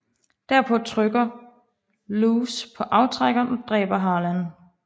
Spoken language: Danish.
Derpå trykker Louse på aftrækkeren og dræber Harlan